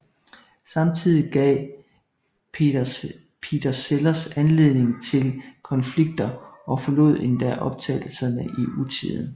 Samtidig gav Peter Sellers anledning til konflikter og forlod endda optagelserne i utide